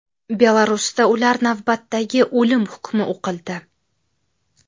Belarusda ular navbatdagi o‘lim hukmi o‘qildi.